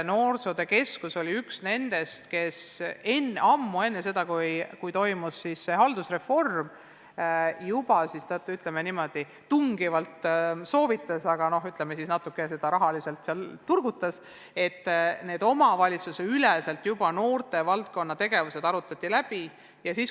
Noorsootöö keskus oli üks nendest, kes ammu enne seda, kui toimus haldusreform, ütleme niimoodi, tungivalt soovitas, et noortevaldkonna tegevused arutataks omavalitsuste üleselt läbi, ja natuke aitas noorte tegevusele ka rahaliselt kaasa.